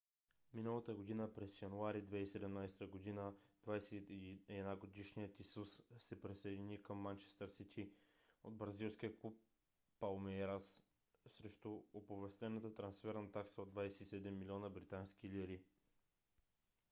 миналата година през януари 2017 година 21 - годишният исус се присъедини към манчестър сити от бразилския клуб палмейрас срещу оповестена трансферна такса от 27 милиона британски лири